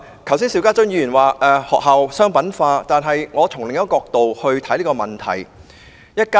剛才邵家臻議員談及學校商品化，但我從另一個角度去看這個問題。